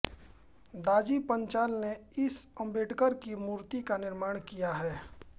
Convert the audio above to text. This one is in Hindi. दाजी पांचाल ने इस आम्बेडकर की मुर्ति का निर्माण किया हैं